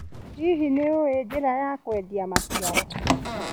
Hihi nĩũĩ njĩra ya kwendia maciaro.